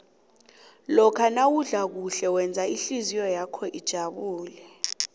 lokha nawudla kuhle wenza ihlizwakho ijabule